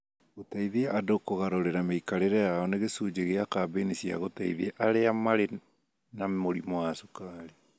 Gũteithia andũ kũgarũrĩra mĩikarĩre yao nĩ gĩcunjĩ kĩa kambĩini cia gũteithia arĩa marĩ na mũrimũ wa cukari